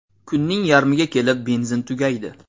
Kunning yarmiga kelib benzin tugaydi.